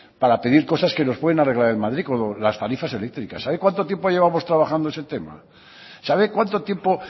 para pedir cosas que nos pueden arreglar en madrid como las tarifas eléctricas sabe cuánto tiempo llevamos trabajando ese tema sabe cuánto tiempo